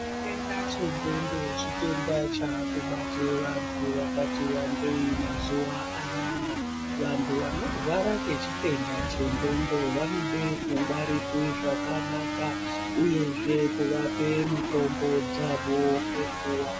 Chitenda chendwondo chitenda chakubate antu vakuti wandei mazuvaana vantu vanorwara ngechitenda chendwondo vanode kungwarirwe zvakanaka uyezve kuvape mitombo dzavo ngenguwa.